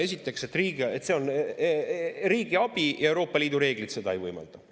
Esiteks, et see on riigiabi ja Euroopa Liidu reeglid seda ei võimalda.